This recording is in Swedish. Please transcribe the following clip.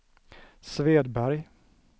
Svedberg